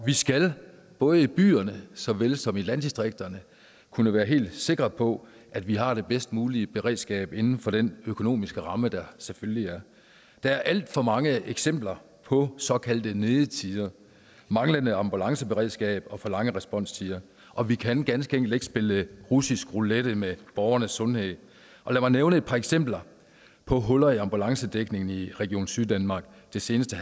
vi skal både i byerne såvel som i landdistrikterne kunne være helt sikre på at vi har det bedst mulige beredskab inden for den økonomiske ramme der selvfølgelig er der er alt for mange eksempler på såkaldte nedetider og manglende ambulanceberedskab og for lange responstider og vi kan ganske enkelt ikke spille russisk roulette med borgernes sundhed lad mig nævne et par eksempler på huller i ambulancedækningen i region syddanmark det seneste